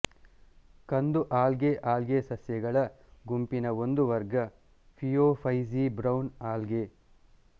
ಕಂದು algae algae ಸಸ್ಯಗಳ ಗುಂಪಿನ ಒಂದು ವರ್ಗ ಫಿಯೋಫೈಸೀಬ್ರೌನ್ ಆಲ್ಗೆ